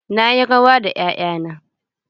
Na yi rawa da 'ya'ya na.